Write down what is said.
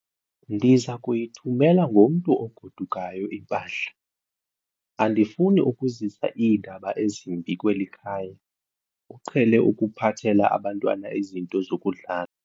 Ndiza kuyithumela ngomntu ogodukayo impahla. andifuni ukuzisa iindaba ezimbi kweli khaya, uqhele ukuphathela abantwana izinto zokudlala